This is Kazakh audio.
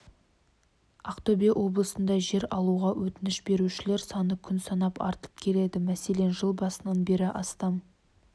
ақтөбе облысында жер алуға өтініш берушілер саны күн санап артып келеді мәселен жыл басынан бері астам